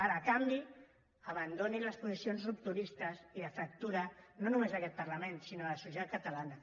ara a canvi abandonin les posicions rupturistes i de fractura no només d’aquest parlament sinó de la societat catalana